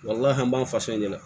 Walahi an b'an faso de la